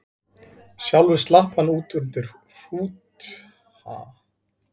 Sjálfur slapp hann út undir hrút risans og hélt sér í ullina.